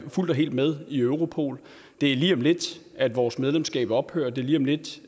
fuldt og helt med i europol det er lige om lidt at vores medlemskab ophører det er lige om lidt